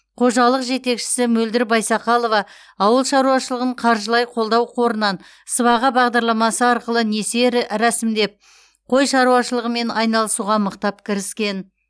қожалық жетекшісі мөлдір байсақалова ауыл шаруашылығын қаржылай қолдау қорынан сыбаға бағдарламасы арқылы несие рі рәсімдеп қой шаруашылығымен айналысуға мықтап кіріскен